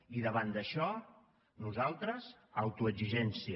i davant d’això nosaltres autoexigència